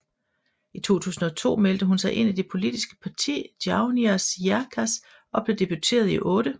I 2002 meldte hun sig ind i det politiske parti Jaunais laiks og blev deputeret i 8